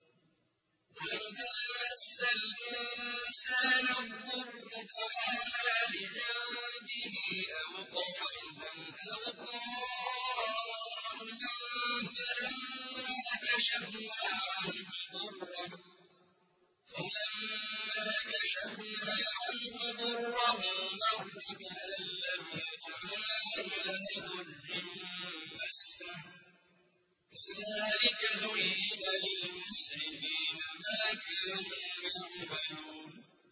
وَإِذَا مَسَّ الْإِنسَانَ الضُّرُّ دَعَانَا لِجَنبِهِ أَوْ قَاعِدًا أَوْ قَائِمًا فَلَمَّا كَشَفْنَا عَنْهُ ضُرَّهُ مَرَّ كَأَن لَّمْ يَدْعُنَا إِلَىٰ ضُرٍّ مَّسَّهُ ۚ كَذَٰلِكَ زُيِّنَ لِلْمُسْرِفِينَ مَا كَانُوا يَعْمَلُونَ